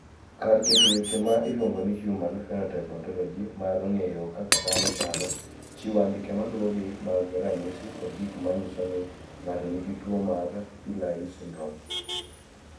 Kar keto weche ma iluongo ni Human Phenotype Ontology mar ng�eyo kaka dhano chalo, chiwo andike ma luwogi mag ranyisi kod gik ma nyiso ni ng�ato nigi tuo mar Pillay syndrome.